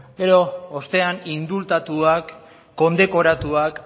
gero ostean indultatuak kondekoratuak